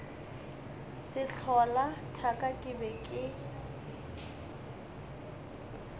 sehlola thaka ke be ke